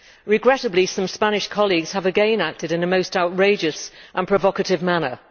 Regrettably, some Spanish colleagues have again acted in a most outrageous and provocative manner.